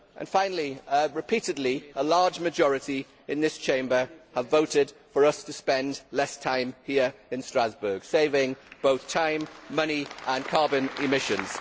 Finally, repeatedly, a large majority in this Chamber have voted for us to spend less time here in Strasbourg, saving both time, money and carbon emissions.